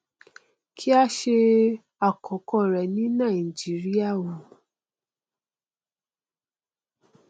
kí á ṣe àkọkọ rẹ̀ ni nàìjíríà wò